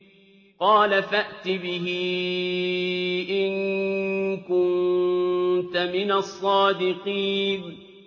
قَالَ فَأْتِ بِهِ إِن كُنتَ مِنَ الصَّادِقِينَ